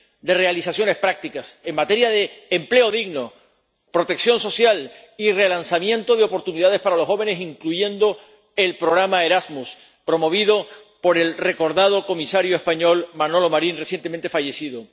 de realizaciones prácticas en materia de empleo digno, protección social y relanzamiento de oportunidades para los jóvenes, incluido el programa Erasmus, promovido por el recordado comisario español Manuel Marín, recientemente fallecido.